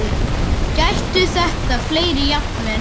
Gætu þetta verið fleiri jafnvel?